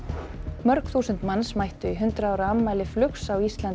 mörg þúsund manns mættu í hundrað ára afmæli flugs á Íslandi